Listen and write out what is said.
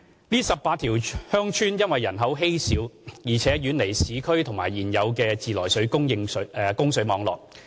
該18條鄉村人口稀少，並且遠離市區及現有的自來水供水網絡。